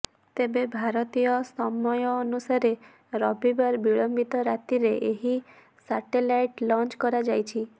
ତେବେ ଭାରତୀୟ ସମୟନୁସାରେ ରବିବାର ବିଳମ୍ବିତ ରାତିରେ ଏହି ସାଟେଲାଇଟ୍ ଲଞ୍ଚ କରାଯାଇଛି